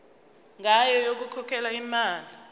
ngayo yokukhokhela imali